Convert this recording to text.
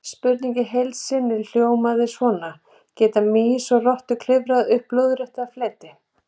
Spurningin í heild sinni hljóðaði svona: Geta mýs og rottur klifrað upp lóðrétta fleti?